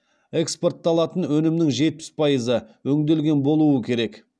экспортталатын өнімнің жетпіс пайызы өңделген болуы керек